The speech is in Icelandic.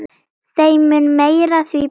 Þeim mun meira, því betra.